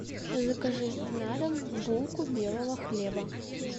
закажи на дом булку белого хлеба